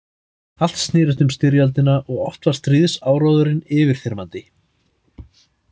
Allt snerist um styrjöldina og oft var stríðsáróðurinn yfirþyrmandi.